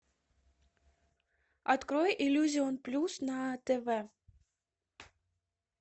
открой иллюзион плюс на тв